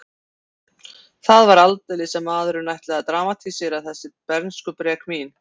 Það var aldeilis að maðurinn ætlaði að dramatísera þessi bernskubrek mín.